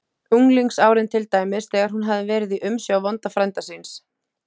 unglingsárin til dæmis, þegar hún hafði verið í umsjá vonda frænda síns